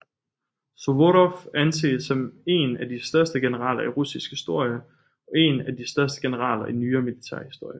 Suvorov anses som en af de største generaler i russisk historie og en af de største generaler i nyere militærhistorie